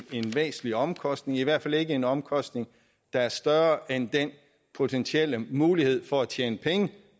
væsentlig omkostning i hvert fald ikke en omkostning der er større end den potentielle mulighed for at tjene penge